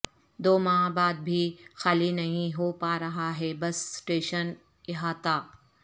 دو ماہ بعد بھی خالی نہیں ہو پا رہا ہے بس اسٹیشن احاطہ